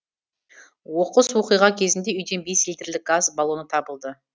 оқыс оқиға кезінде үйден бес литрлік газ баллоны табылды